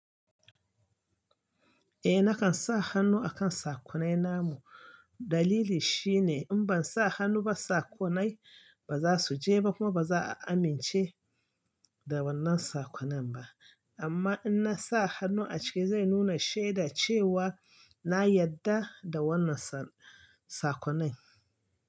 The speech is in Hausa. Eh nakan sa hannu akan sakonai na mu. Dalili shine in ban sa hannu ba sakonai ba za su je ba kuma ba za a amince da wannan sakonan ba. Amma in na sa hannu a ciki zai nuna sheda cewa na yadda da wannan sakonai.